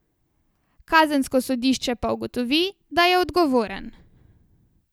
Kazensko sodišče pa ugotovi, da je odgovoren.